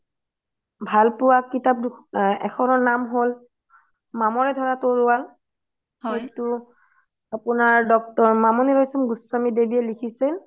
ভাল পুয়া কিতাপ এখনৰ নাম হ'ল মামৰে ধৰা তোৰুৱাল সেইটো আপুনাৰ doctor মামোনি ৰোই ধোৰ গোস্বামীয়ে দেৱিয়ে লিখিচিল